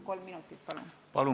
Kolm minutit lisaaega, palun!